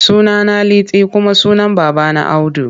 Sunana Liti kuma sunan babana Audu.